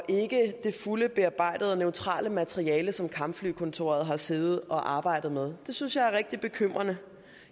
ikke det fulde bearbejdede og neutrale materiale som kampflykontoret har siddet og arbejdet med det synes jeg er rigtig bekymrende